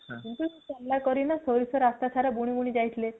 କିନ୍ତୁ ସେ ଚାଲାକ ହେଇକିନା ରାସ୍ତା ସାରା ସୋରିଷ ବୁଣି ବୁଣି ଯାଇଥିଲେ